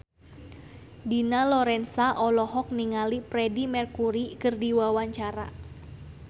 Dina Lorenza olohok ningali Freedie Mercury keur diwawancara